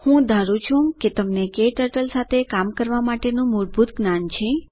હું માનું છું કે તમને ક્ટર્ટલ સાથે કામ કરવા માટેનું મૂળભૂત જ્ઞાન છે